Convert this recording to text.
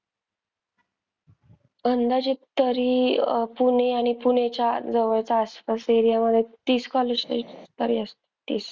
अंदाजे तरी पुणे आणि पुण्याच्या जवळचा आसपास area मधे तीस colleges तरी असतील.